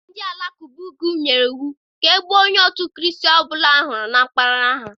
Ndị Alakụba ugwu nyere iwu ka e gbuo onye òtù Kraịst ọ bụla a hụrụ na mpaghara ha.